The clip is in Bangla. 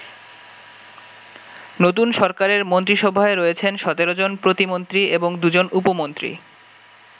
নতুন সরকারের মন্ত্রিসভায় রয়েছেন ১৭ জন প্রতিমন্ত্রী এবং দু'জন উপমন্ত্রী।